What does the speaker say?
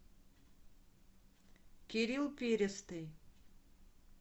кирилл перестый